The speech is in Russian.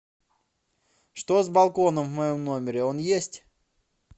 что с балконом в моем номере он есть